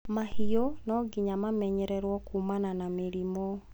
mahiũ nonginya mamenyererwo kumana na mĩrimũ